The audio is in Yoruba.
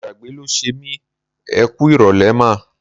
Ìgbàgbé ló ṣe mí. Ẹ kú ìrọ̀lẹ́ mà.